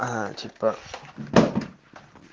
аа типо